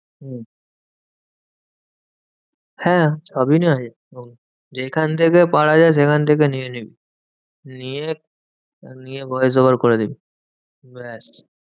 হম হ্যাঁ সবই নেওয়া যেতে যেখান থেকে পারা যায় সেখান থেকে নিয়ে নিবি। নিয়ে নিয়ে voice over করে দিবি ব্যাস।